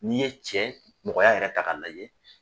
N'i ye cɛ mɔgɔya yɛrɛ ta k'a lajɛ